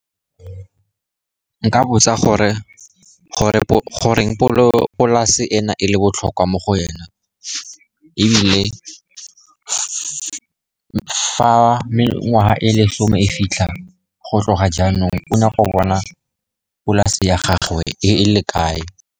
Nka botsa gore goreng polase ena e le botlhokwa mo go ena, ebile fa mengwaga e lesome e fitlha go tloga jaanong, o nyaka go bona polase ya gagwe e le kae.